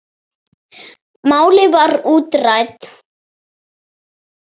Málið var útrætt.